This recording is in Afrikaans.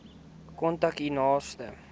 kontak u naaste